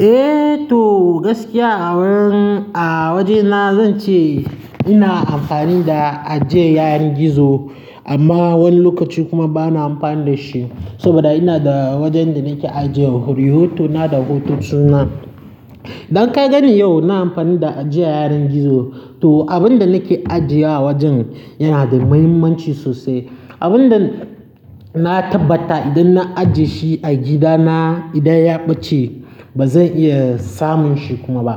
Eh to gaskiya a wurin, a wajena zan ce ina amfani da ajiye yaren gizo amma wani lokaci kuma bana amfani da shi. Saboda ina da wajen da nake ajiye rihotona da hotonuna. Don ka gani yau na amfani da ajiye yaren gizo to abin da nake ajiye a wajen yana da mahimmanci sosai. Abin da na tabbata idan na ajiye shi a gidana idan ya ɓace ba zan iya samun shi kuma ba.